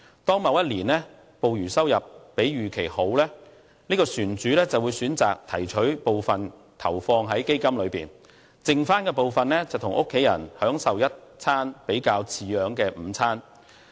當某一年的捕魚收入比預期好時，這船主便會選擇把部分盈餘投放在基金裏面，餘下部分則與家人享用一頓比較好的午餐。